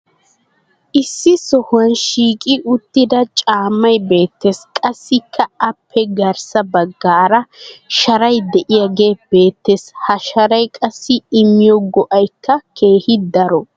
issi sohuwan shiiqqi uttida caammay beetees. qassikka appe garssa bagaara sharay diyaagee beetees. ha sharay qassi immiyo go'aykka keehi daro.